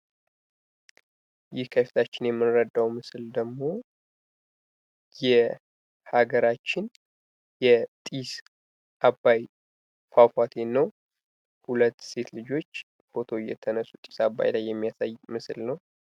ይህ ከፊታችን የምንረዳው ምስል ደግሞ የሀገራችን የጤስ አባይ ፏፏቴ ነው።2 ሴት ልጆች ፎቶ የተነሱ የሚያሳይ ምስል ነው።